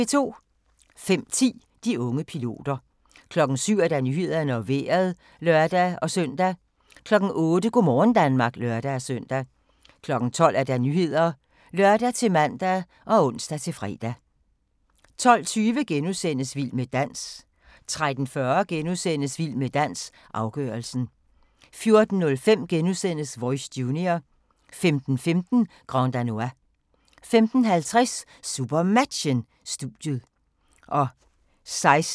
05:10: De unge piloter 07:00: Nyhederne og Vejret (lør-søn) 08:00: Go' morgen Danmark (lør-søn) 12:00: Nyhederne (lør-man og ons-fre) 12:20: Vild med dans * 13:40: Vild med dans - afgørelsen * 14:05: Voice Junior * 15:15: Grand Danois 15:50: SuperMatchen: Studiet 16:05: SuperMatchen: SønderjyskE - Bjerringbro-Silkeborg (m), direkte